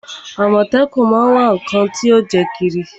Àmọ̀tẹ́kún má á ń wá ǹnkan tí yóò jẹ́ kírí